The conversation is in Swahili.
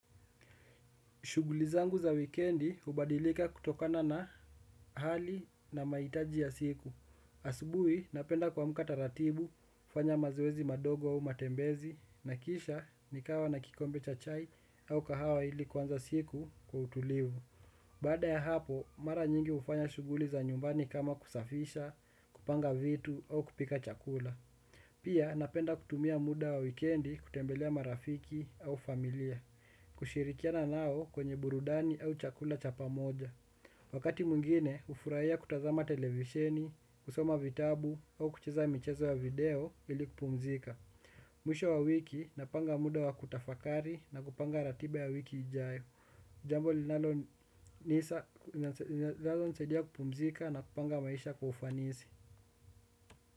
Shughuli zangu za wikendi hubadilika kutokana na hali na mahitaji ya siku. Asubuhi, napenda kuamka taratibu, hufanya mazoezi madogo au matembezi, na kisha nikawa na kikombe cha chai au kahawa ili kuanza siku kwa utulivu. Baada ya hapo, mara nyingi hufanya shughuli za nyumbani kama kusafisha, kupanga vitu au kupika chakula. Pia, napenda kutumia muda wa wikendi kutembelea marafiki au familia. Kushirikiana nao kwenye burudani au chakula cha pamoja wakati mwingine, hufurahia kutazama televisheni, kusoma vitabu au kucheza michezo ya video ili kupumzika. Mwisho wa wiki, napanga muda wa kutafakari napanga ratiba ya wiki ijayo. Jambo linalonisaidia kupumzika na kupanga maisha kwa ufanisi.